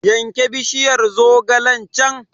Yanke bishiyar zogalen can!